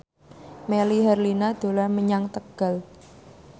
Melly Herlina dolan menyang Tegal